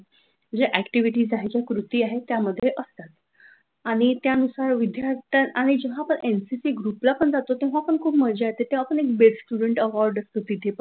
खूप साऱ्या जे असतात, त्या म्हणजे ऍक्टिव्हिटी आहे ज्या कृती त्यामध्ये असतात. आणि त्यानुसार विद्यार्थ्यांन आणि जेव्हा आपण एमपीएससी ग्रुपला पण जातो खूप मज्जा येते तेव्हा बेस्ट स्टुडन्ट अवॉर्ड असते तिथे पण,